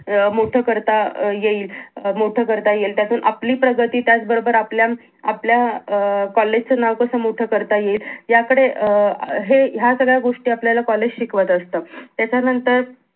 अं मोठं करता येई अं मोठं करता येईल त्यातून आपली प्रगती त्याच बरोबर आपल्या अं म आपल्या कॉलेज च नाव कास मोठं करता येईल याकडे अं हे ह्या सगळ्या गोष्टी आपल्याला कॉलेज शिकवत असत. त्याच्यानंतर